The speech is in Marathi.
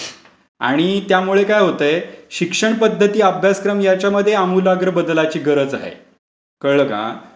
आणि त्यामुळे काय होतय शिक्षण पध्दती, अभ्यासक्रम याच्यामध्ये आमुलाग्र बदलाची गरज आहे. कळलं का?